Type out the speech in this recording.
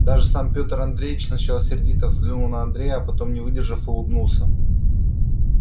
даже сам петр андреевич сначала сердито взглянул на андрея а потом не выдержав улыбнулся